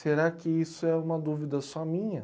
Será que isso é uma dúvida só minha?